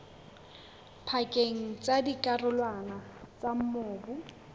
pakeng tsa dikarolwana tsa mobu